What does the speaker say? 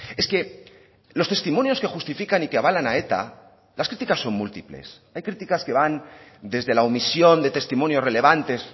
es que los testimonios que justifican y que avalan a eta las críticas son múltiples hay críticas que van desde la omisión de testimonios relevantes